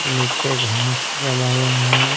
नीचे घास जमा हुआ है।